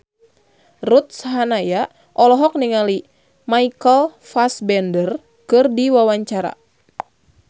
Ruth Sahanaya olohok ningali Michael Fassbender keur diwawancara